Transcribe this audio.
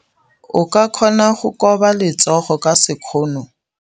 O ka kgona go koba letsogo ka sekgono.